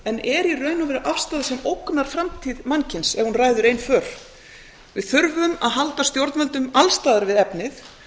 en er í raun og veru afstaða sem ógnar framtíð mannkyns ef hún ræður ein för við þurfum að halda stjórnvöldum alls staðar við efnið